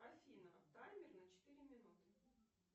афина таймер на четыре минуты